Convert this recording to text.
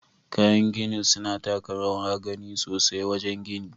Kayan gini suna taka rawar gani sosai wajen gini.